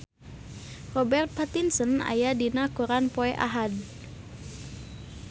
Robert Pattinson aya dina koran poe Ahad